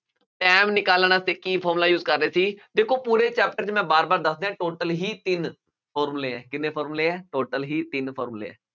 time ਨਿਕਾਲਣ ਵਾਸਤੇ ਕੀ formula use ਕਰ ਰਹੇ ਸੀ, ਦੇਖੋ ਪੂਰੇ chapter ਚ ਮੈਂ ਵਾਰ-ਵਾਰ ਦੱਸ ਦਿਆਂ, total ਹੀ ਤਿੰਨ formula ਹੈ, ਕਿੰਨੇ formula ਹੈ, total ਹੀ ਤਿੰਨ formula ਹੈ।